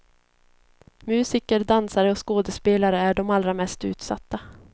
Musiker, dansare och skådespelare är de allra mest utsatta.